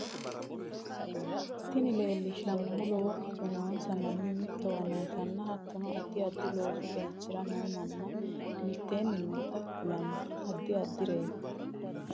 Tinni lelshannohu loowo kirro noonsa manni miitowa nootana hattono addi addi loosu keechira noo maani miiteni noota kooleno addi addireti.